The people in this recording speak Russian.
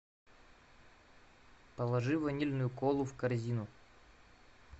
положи ванильную колу в корзину